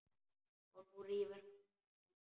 Og nú rífur hann í.